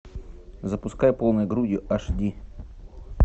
запускай полной грудью аш ди